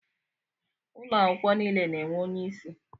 Ụlọ akwụkwọ niile na-enwe onyeisi.